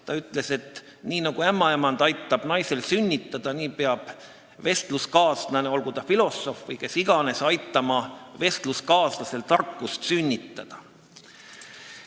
Ta ütles, et nii nagu ämmaemand aitab naisel sünnitada, nii peab vestluskaaslane, olgu ta filosoof või kes iganes, aitama vestluskaaslasel tarkust sünnitada.